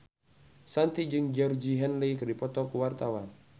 Shanti jeung Georgie Henley keur dipoto ku wartawan